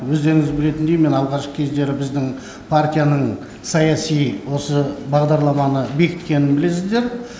өздеріңіз білетіндей мен алғашқы кездері біздің партияның саяси осы бағдарламаны бекіткенін білесіздер